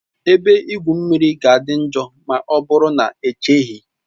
Ebe igwu mmiri ga-adị njọ ma ọ bụrụ na echeghị